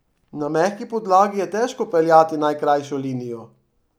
Na mehki podlagi je težko peljati najkrajšo linijo.